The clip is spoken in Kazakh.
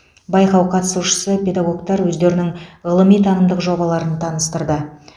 байқау қатысушысы педагогтар өздерінің ғылыми танымдық жобаларын таныстырды